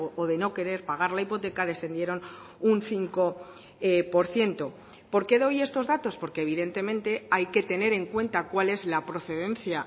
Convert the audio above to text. o de no querer pagar la hipoteca descendieron un cinco por ciento por qué doy estos datos porque evidentemente hay que tener en cuenta cuál es la procedencia